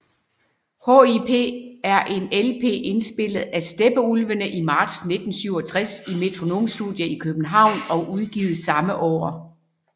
HIP er en LP indspillet af Steppeulvene i marts 1967 i Metronome Studio i København og udgivet samme år